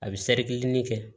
A bɛ ɲini kɛ